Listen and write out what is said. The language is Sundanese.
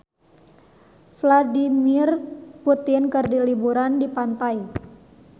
Vladimir Putin keur liburan di pantai